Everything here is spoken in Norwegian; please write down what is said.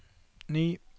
ny